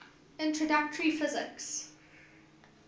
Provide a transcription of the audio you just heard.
introductory physics